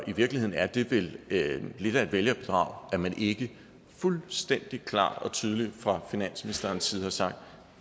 i virkeligheden er det vel lidt af et vælgerbedrag at man ikke fuldstændig klart og tydeligt fra finansministerens side har sagt